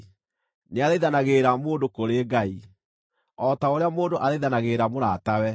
nĩathaithanagĩrĩra mũndũ kũrĩ Ngai, o ta ũrĩa mũndũ athaithanagĩrĩra mũratawe.